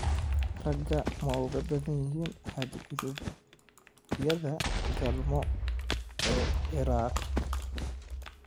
Raga ma ugu badan yihiin xadgudubyada galmo ee Ciraaq?